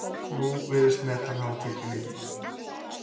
Nú virðist metan hafa tekið við.